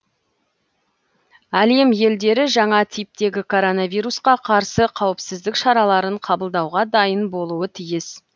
әлем елдері жаңа типтегі коронавирусқа қарсы қауіпсіздік шараларын қабылдауға дайын болуы тиіс